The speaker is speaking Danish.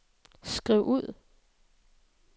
skriv ud